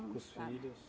Com os filhos?